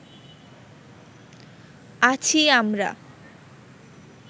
আছি আমরা